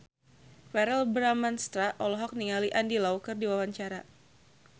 Verrell Bramastra olohok ningali Andy Lau keur diwawancara